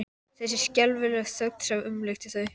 Þessi skelfilega þögn sem umlukti þau.